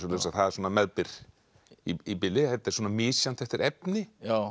meðbyr í bili þetta er misjafnt eftir efni